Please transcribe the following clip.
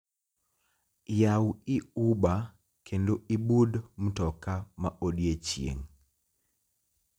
Yawi uber kendo ibud mtoka ma odiechieng'